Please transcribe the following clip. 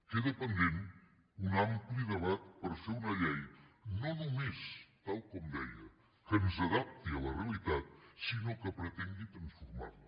queda pendent un ampli debat per fer una llei no només tal com deia que ens adapti a la realitat sinó que pretengui transformar la